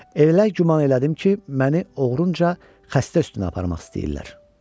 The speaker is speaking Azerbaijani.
Elə güman elədim ki, məni oğrunca xəstə üstünə aparmaq istəyirlər.